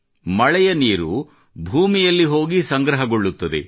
ಮಳೆಯ ನೀರು ಭೂಮಿಯಲ್ಲಿ ಹೋಗಿ ಸಂಗ್ರಹಗೊಳ್ಳುತ್ತದೆ